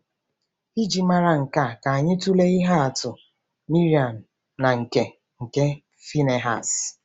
Iji mara nke a, ka anyị tụlee ihe atụ Miriam na nke nke Phinehas.